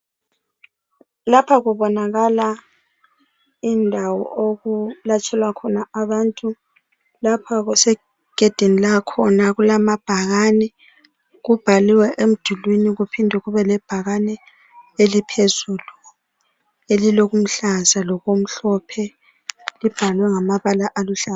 Lapha kubonakala indawo okulatshelwa khona abantu. Lapha kusegedini lakhona, kulamabhakane kubhaliwe emdulini kuphinde kubele bhakane eliphezulu elilo kuluhlaza lokumhlophe. Kubhaliwe ngamabala aluhlaza.